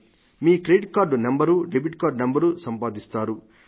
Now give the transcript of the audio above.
మీ credit card number debit card number లు సంపాదిస్తారు